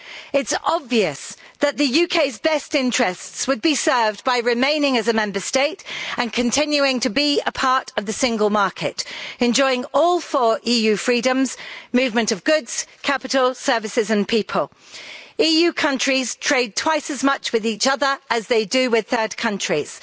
It's obvious that the UK's best interests would be served by remaining as a Member State and continuing to be a part of the Single Market, enjoying all four EU freedoms movement of goods, capital, services and people. EU countries trade twice as much with each other as they do with third countries.